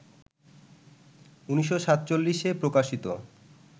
১৯৪৭-এ প্রকাশিত